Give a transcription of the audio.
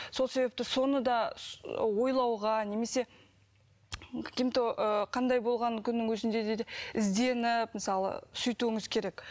сол себепті соны да ойлауға немесе ыыы қандай болған күннің өзінде де ізденіп мысалы сөйтуіңіз керек